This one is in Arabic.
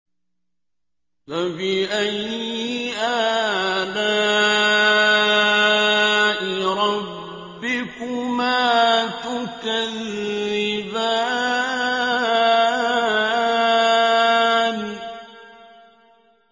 فَبِأَيِّ آلَاءِ رَبِّكُمَا تُكَذِّبَانِ